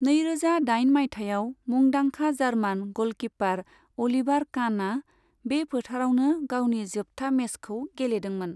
नैरोजा दाइन मायथाइयाव मुंदांखा जार्मान गलकीपार अलिभार कानआ बे फोथारावनो गावनि जोबथा मेचखौ गेलेदोंमोन।